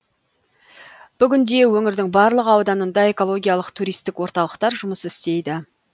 бүгінде өңірдің барлық ауданында экологиялық туристік орталықтар жұмыс істейді